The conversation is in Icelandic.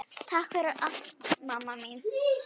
Takk fyrir allt, mamma mín.